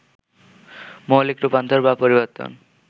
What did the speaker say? মৌলিক রূপান্তর বা পরিবর্তন